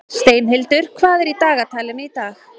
Steinhildur, hvað er í dagatalinu í dag?